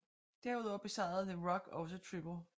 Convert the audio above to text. Derudover besejrede The Rock også Triple H